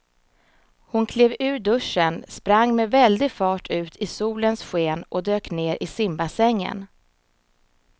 Hon klev ur duschen, sprang med väldig fart ut i solens sken och dök ner i simbassängen.